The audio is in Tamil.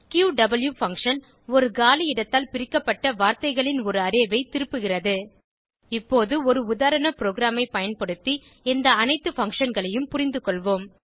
க்யூவ் பங்ஷன் ஒரு காலி இடத்தால் பிரிக்கப்பட்ட வார்த்தைகளின் ஒரு அரே ஐ திருப்புகிறது இப்போது ஒரு உதாரண ப்ரோகிராமை பயன்படுத்தி இந்த அனைத்து functionகளையும் புரிந்துகொள்வோம்